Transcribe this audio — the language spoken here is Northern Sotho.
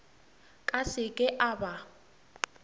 ka se ke a ba